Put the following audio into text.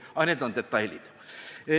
Aga need on detailid.